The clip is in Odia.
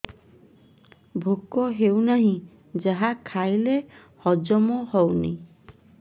ଭୋକ ହେଉନାହିଁ ଯାହା ଖାଇଲେ ହଜମ ହଉନି